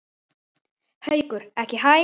Haukur: Ekki hæ?